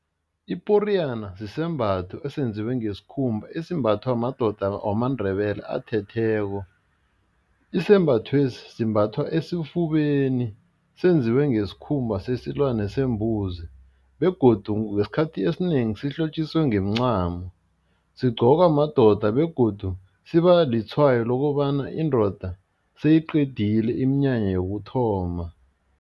Iporiyana sisembatho esenziwe ngesikhumba esimbathwa madoda wamaNdebele athetheko. Isembathwesi simbathwa esifubeni senziwe ngesikhumba sesilwane sembuzi begodu ngesikhathi esinengi sihlotjiswe ngemincamo, sigqokwa madoda begodu siba litshwayo lokobana indoda seyiqedile iminyanya yokuthoma.